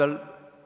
Ivari Padar, palun!